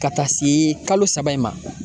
Ka taa se kalo saba in ma.